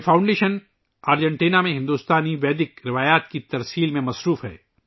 یہ foundation Argentina میں ہندوستانی ویدِک روایات کو فروغ دینے میں شامل ہے